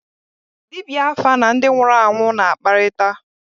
Dibịa áfá na ndị nwụrụ anwụ na-akparịta